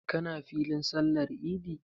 Ka na filin sallar idi?